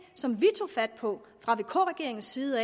som vi tog fat på fra vk regeringens side